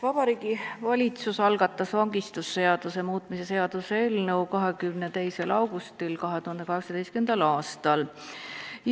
Vabariigi Valitsus algatas vangistusseaduse muutmise seaduse eelnõu 22. augustil 2018. aastal.